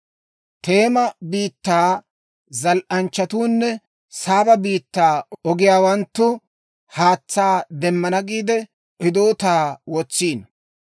Teema biittaa zal"anchchatuunne Saaba biittaa ogiyaawanttu haatsaa demmana giide, hidootaa wotsiino.